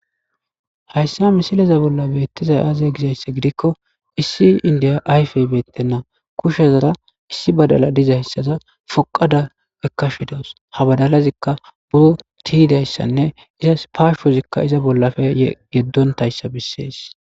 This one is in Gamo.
hayssa misilaza bolla beettizay aaze gizayssa gidikko issi indiya ayfey beettenna kushezara issi badala dizayssaza foqada ekkashidaws ha badalazikka buro tiyidayssanne izas paashozikka iza bollafe yeddontayssa bissees